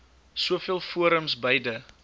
soveel forums beide